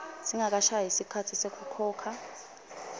singakashayi sikhatsi sekukhokha